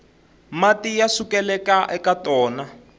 mati ya sukelaka eka tona